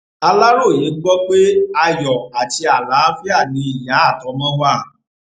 aláròye gbọ pé ayọ àti àlàáfíà ni ìyá àtọmọ wa